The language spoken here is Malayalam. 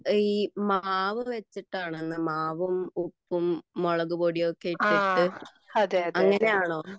ഈ മാവു വച്ചിട്ടാണോ മാവും ഉപ്പും മുളക് പൊടിയും ഒക്കെ ഇട്ടിട്ട് അങ്ങനെയാണോ